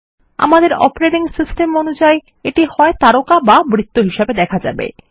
আমাদের operating system অনুযাই এটি হয় তারকা না বৃত্ত হিসাবে দেখাবে